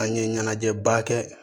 An ye ɲɛnajɛba kɛ